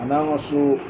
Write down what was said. A n'an ka so